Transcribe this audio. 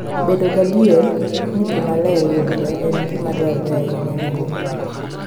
Bedo gadier ni pi maler yudore en gima dwarore ahinya ne nyuogi.